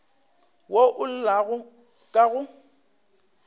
wo o llago ka go